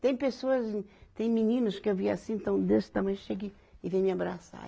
Tem pessoas, tem meninos que eu vi assim, então desse tamanho chega e vem me abraçar.